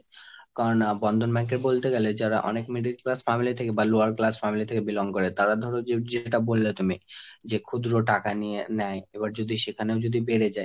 কারণ Bandhan bank এ বলতে গেলে যারা অনেক middle class family থেকে বা lower class family থেকে belong করে, তারা ধরো, যে~ যেটা বললে তুমি যে ক্ষুদ্র টাকা নিয়ে নেয় এবার যদি সেখানেও যদি বেড়ে যায়,